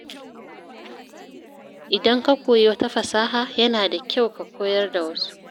Idan ka koyi wata fasaha, yana da kyau ka koyar da wasu.